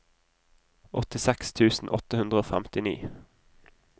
åttiseks tusen åtte hundre og femtini